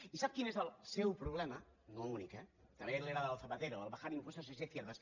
i sap quin és el seu problema no únic eh també l’era del zapatero el bajar impuestos es de izquierdas